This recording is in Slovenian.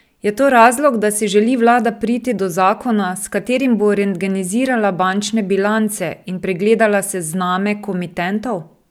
Je to razlog, da si želi vlada priti do zakona, s katerim bo rentgenizirala bančne bilance in pregledala sezname komitentov?